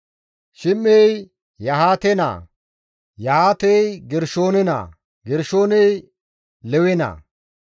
Shim7ay Yahaate naa; Yahaatey Gershoome naa; Gershoomey Lewe naa.